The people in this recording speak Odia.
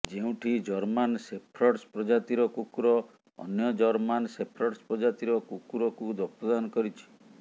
ଯେଉଁଠି ଜର୍ମାନ ସେଫ୍ର୍ଡସ୍ ପ୍ରଜାତିର କୁକୁର ଅନ୍ୟ ଜର୍ମାନ ସେଫ୍ର୍ଡସ୍ ପ୍ରଜାତିର କୁକୁରକୁ ରକ୍ତଦାନ କରିଛି